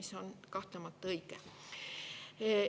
See on kahtlemata õige.